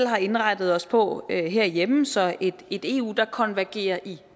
har indrettet os på herhjemme så et eu der konvergerer i